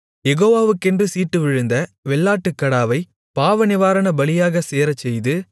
யெகோவாக்கென்று சீட்டு விழுந்த வெள்ளாட்டுக்கடாவைப் பாவநிவாரணபலியாகச் சேரச்செய்து